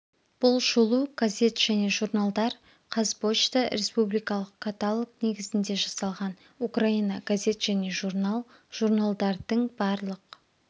бұл шолу газет және журналдар қазпошта республикалық каталог негізінде жасалған украина газет және журнал журналдардың барлық